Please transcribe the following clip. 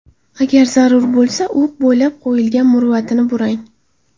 Agar zarur bo‘lsa, o‘q bo‘ylab qo‘yilgan murvatini burang.